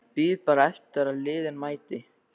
Bíð bara eftir að liðið mæti.